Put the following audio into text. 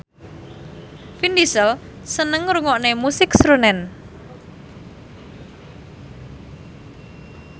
Vin Diesel seneng ngrungokne musik srunen